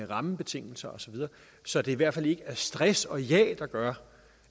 rammebetingelser osv så det i hvert fald ikke er stress og jag der gør